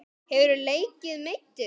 Hefurðu leikið meiddur?